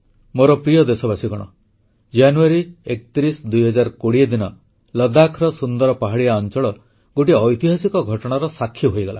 ମୋର ପ୍ରିୟ ଦେଶବାସୀଗଣ ଜାନୁଆରୀ 31 2020 ଦିନ ଲଦ୍ଦାଖର ସୁନ୍ଦର ପାହାଡ଼ିଆ ଅଂଚଳ ଗୋଟିଏ ଐତିହାସିକ ଘଟଣାର ସାକ୍ଷୀ ହୋଇଗଲା